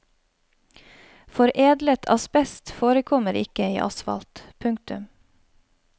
Foredlet asbest forekommer ikke i asfalt. punktum